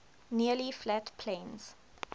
nearly flat plains